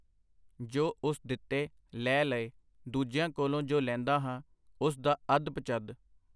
ਜੋ ਉਸ ਦਿਤੇ, ਲੈ ਲਏ - ਦੂਜਿਆਂ ਕੋਲੋਂ ਜੋ ਲੈਂਦਾ ਹਾਂ, ਉਸ ਦਾ ਅੱਧ-ਪਚੱਧ.